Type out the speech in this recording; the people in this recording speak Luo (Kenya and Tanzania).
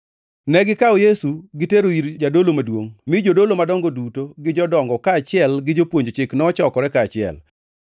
Negikawo Yesu gitero ir jadolo maduongʼ mi jodolo madongo duto gi jodongo kaachiel gi jopuonj chik nochokore kaachiel.